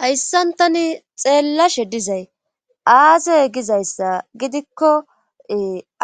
hayssan tani xeellashe dizay aazey gizayssa gidikko